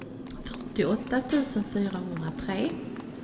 fyrtioåtta tusen fyrahundratre